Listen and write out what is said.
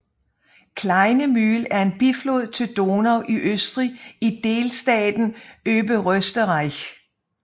Kleine Mühl er en biflod til Donau i Østrig i delstaten Oberösterreich